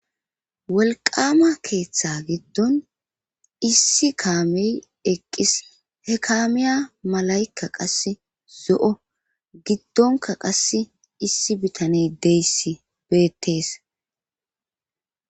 Wolqama keeththa giddon issi kaame eqqis he kaamiya malaykka qase zo7o giddonka qass issi bitane deyssi beettees.